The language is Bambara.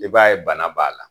I b'a ye bana b'a la.